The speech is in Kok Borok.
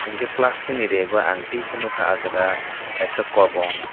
hingkhe plastic ni reg o ang tewaisa nogkha aah jaga kaisa kobong.